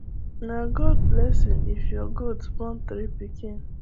nah god blessing if your goat born three pikin